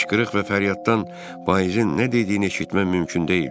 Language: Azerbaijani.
Qışqırıq və fəryaddan vaizin nə dediyini eşitmək mümkün deyildi.